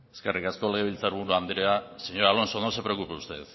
eskerrik asko legebiltzar buru andrea señor alonso no se preocupe usted